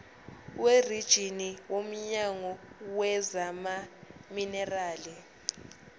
werijini womnyango wezamaminerali